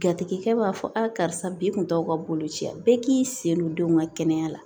Jatigikɛ b'a fɔ a karisa bi kun t'aw ka boloci ye a bɛɛ k'i sen don denw ka kɛnɛya la